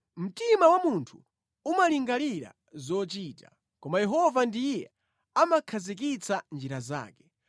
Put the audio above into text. Mtima wa munthu umalingalira zochita, koma Yehova ndiye amakhazikitsa njira zake.